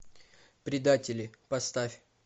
предатели поставь